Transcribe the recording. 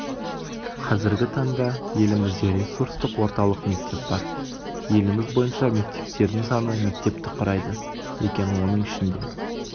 қазіргі таңда елімізде ресурстық орталық мектеп бар еліміз бойынша мектептердің саны мектепті құрайды екен оның ішінде